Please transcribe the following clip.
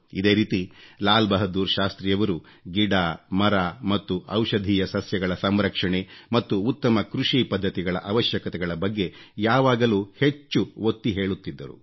ಇದೇ ರೀತಿ ಲಾಲ್ ಬಹದ್ದೂರ್ ಶಾಸ್ತ್ರಿಯವರು ಗಿಡ ಮರ ಮತ್ತು ಔಷಧೀಯ ಸಸ್ಯಗಳ ಸಂರಕ್ಷಣೆ ಮತ್ತು ಉತ್ತಮ ಕೃಷಿ ಪದ್ಧತಿಗಳ ಅವಶ್ಯಕತೆಗಳ ಬಗ್ಗೆ ಯಾವಾಗಲೂ ಹೆಚ್ಚು ಒತ್ತಿ ಹೇಳುತ್ತಿದ್ದರು